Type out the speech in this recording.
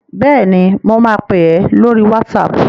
Bẹ́ẹ̀ni, mo ma pè ẹ́ lórí WhatsApp